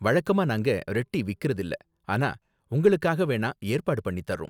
வழக்கமா நாங்க red tea விக்கிறதில்ல, ஆனா உங்களுக்காக வேணா ஏற்பாடு பண்ணி தர்றோம்.